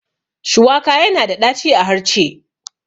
Shuwaka yana da ɗaci a harce